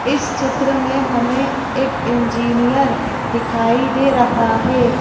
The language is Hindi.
इस चित्र में हमें एक इंजीनियर दिखाई दे रहा है।